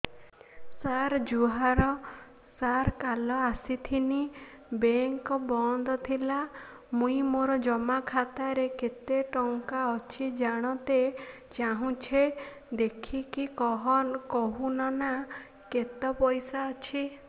ସାର ଜୁହାର ସାର କାଲ ଆସିଥିନି ବେଙ୍କ ବନ୍ଦ ଥିଲା ମୁଇଁ ମୋର ଜମା ଖାତାରେ କେତେ ଟଙ୍କା ଅଛି ଜାଣତେ ଚାହୁଁଛେ ଦେଖିକି କହୁନ ନା କେତ ପଇସା ଅଛି